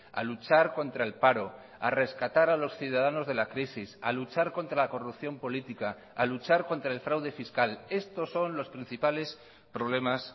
a luchar contra el paro a rescatar a los ciudadanos de la crisis a luchar contra la corrupción política a luchar contra el fraude fiscal estos son los principales problemas